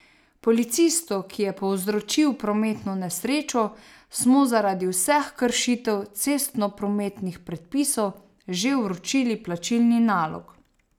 Policistu, ki je povzročil prometno nesrečo, smo zaradi vseh kršitev cestnoprometnih predpisov že vročili plačilni nalog.